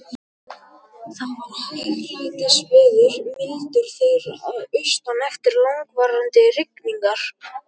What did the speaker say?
Það var hæglætisveður, mildur þeyr að austan eftir langvarandi rigningar.